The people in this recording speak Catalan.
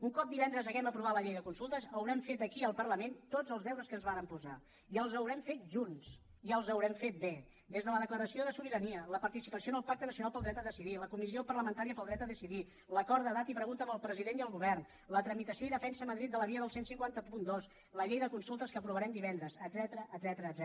un cop divendres hàgim aprovat la llei de consultes haurem fet aquí al parlament tots els deures que ens vàrem posar i els haurem fet junts i els haurem fet bé des de la declaració de sobirania la participació en el pacte nacional pel dret a decidir la comissió parlamentària pel dret a decidir l’acord de data i pregunta amb el president i el govern la tramitació i defensa a madrid de la via del quinze zero dos la llei de consultes que aprovarem divendres etcètera